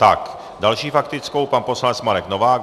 S další faktickou pan poslanec Marek Novák.